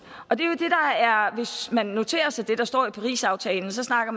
hvis man noterer sig det der står i parisaftalen snakker